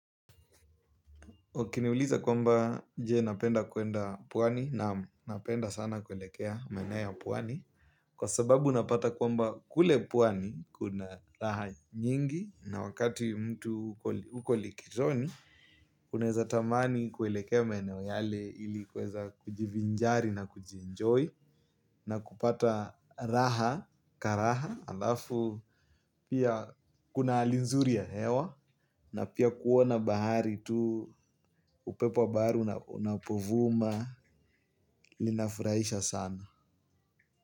Ukiniuliza kwamba je napenda kwenda pwani naam napenda sana kuelekea maineo ya pwani. Kwa sababu unapata kwamba kule pwani kuna raha nyingi na wakati mtu uko likizoni uneza tamani kuelekea maineo yale ili kuweza kujivinjari na kujienjoy. Na kupata raha karaha alafu pia kuna hali nzuri ya hewa. Na pia kuona bahari tu upepo wa bahari unapovuma linafuraisha sana.